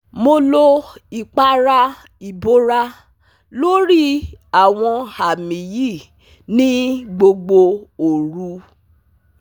Mo lo ipara ibora lori awọn ami yi ni gbogbo oru